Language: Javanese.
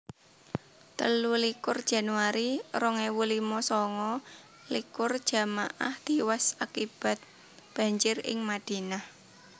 telulikur januari rong ewu limo sanga likur jamaah tiwas akibat banjir ing Madinah